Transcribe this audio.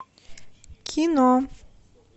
кино